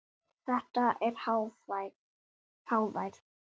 Þetta er hávær